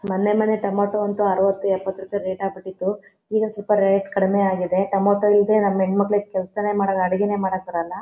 ಮೊನ್ನೆ ಮೊನ್ನೆ ಟೊಮೆಟೊ ಅಂತೂ ಆರವತು ಎಪತ್ತು ರೂಪಾಯಿ ರೇಟ್ ಆಗಬಿಟ್ಟಿತು. ಈವಾಗ ಸ್ವಲ್ಪರೇಟ್ ಕಡಿಮೆ ಆಗಿದೆ. ಟೊಮೆಟೊ ಇಲ್ಲದೆ ನಮ್ಮ ಹೆಣ್ಮಕ್ಕಳಿಗೆ ಕೆಲಸನೇ ಮಾಡಲ್ಲಾ ಅಡಿಗೆನೆ ಮಾಡಕ್ ಬರಲ್ಲ.